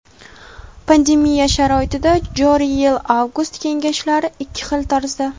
Pandemiya sharoitida joriy yil Avgust kengashlari ikki xil tarzda:.